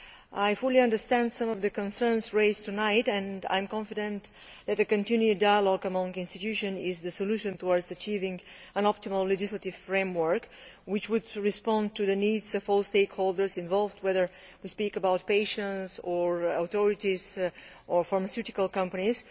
I fully understand some of the concerns raised tonight and I am confident that a continued dialogue amongst the institutions is the solution towards achieving an optimal legislative framework which would respond to the needs of all stakeholders involved, whether they are patients or authorities or pharmaceutical companies.